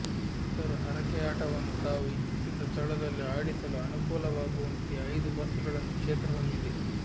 ಭಕ್ತರು ಹರಕೆಯಾಟವನ್ನು ತಾವು ಇಚ್ಛಿಸಿದ ಸ್ಥಳದಲ್ಲಿ ಆಡಿಸಲು ಅನುಕೂಲವಾಗುವಂತೆ ಐದು ಬಸ್ಗಳನ್ನು ಕ್ಷೇತ್ರ ಹೊಂದಿದೆ